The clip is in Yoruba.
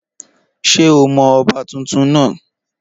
Ṣé o mọ ọba tuntun náà?